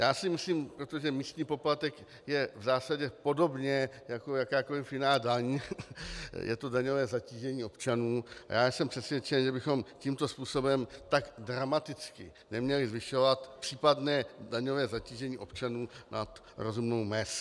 Já si myslím, protože místní poplatek je v zásadě podobně jako jakákoliv jiná daň, je to daňové zatížení občanů, a já jsem přesvědčen, že bychom tímto způsobem tak dramaticky neměli zvyšovat případné daňové zatížení občanů nad rozumnou mez.